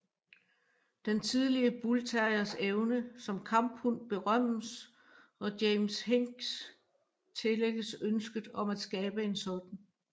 Den tidlige bullterriers evne som kamphund berømmes og James Hinks tillægges ønsket om at skabe en sådan